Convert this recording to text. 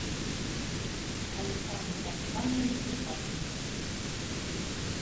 александре александровиче вяткине